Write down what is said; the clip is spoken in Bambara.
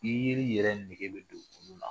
I yeli yɛrɛ nɛgɛ bɛ don olu la